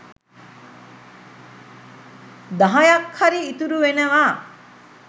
දහයක් හරි ඉතුරු වෙනවා.